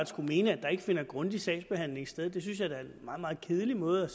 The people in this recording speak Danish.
skulle mene at der ikke finder en grundig sagsbehandling sted det synes jeg da er en meget meget kedelig måde